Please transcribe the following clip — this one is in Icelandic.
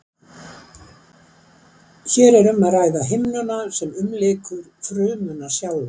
Er hér um að ræða himnuna sem umlykur frumuna sjálfa.